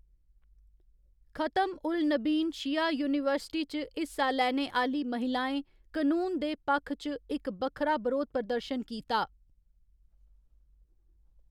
खतम उल नबीन शिया यूनीवर्सिटी च हिस्सा लैने आह्‌ली महिलाएं कनून दे पक्ख च इक बक्खरा बरोध प्रदर्शन कीता।